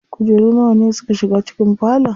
Kujeru nawa ne suka shiga cikin falon?